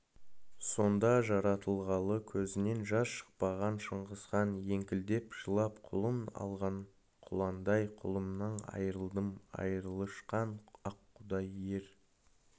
сонда жаратылғалы көзінен жас шықпаған шыңғысхан еңкілдеп жылап құлын алған құландай құлынымнан айрылдым айырылышқан аққудай ер